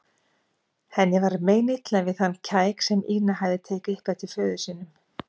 Henni var meinilla við þennan kæk sem Ína hafði tekið upp eftir föður sínum.